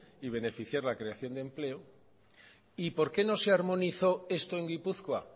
y beneficiar la creación de empleo y por qué no se armonizó esto en gipuzkoa